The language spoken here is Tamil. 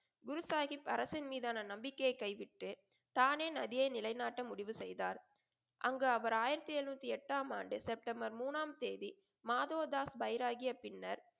குரு சாஹிப் அரசின் மீதானா நம்பிக்கையை கைவிட்டு தானே நதியை நிலை நாட்ட முடிவு செய்தார். அங்கு அவர் ஆயிரத்தி எழுநூத்தி எட்டாம் ஆண்டு செப்டம்பர் மூனாம் தேதி மாதோதாஸ் பைராகிய பின்னர்,